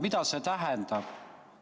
Mida see tähendab?